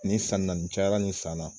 Ni san in na nin cayara nin san na